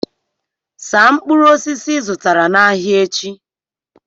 saa mkpụrụ osisi ị zụtara n'ahịa echi